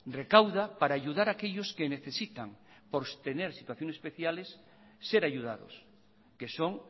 recauda para ayudar a aquellos que necesitan por tener situaciones especiales ser ayudados que son